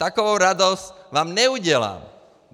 Takovou radost vám neudělám.